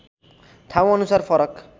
ठाउँ अनुसार फरक